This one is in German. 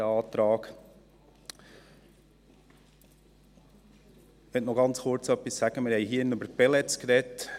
Ich möchte noch ganz kurz etwas sagen: Wir haben hier drin über Pellets gesprochen.